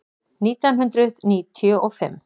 Nítján hundruð níutíu og fimm